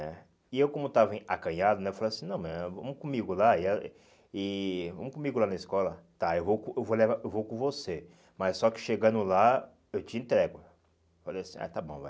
né E eu como estava em acanhado né, eu falei assim, não mãe vamos comigo lá e a e vamos comigo lá na escola, tá, eu vou com eu vou le eu vou com você, mas só que chegando lá eu te entrego. Falei assim, ah, está bom, vai.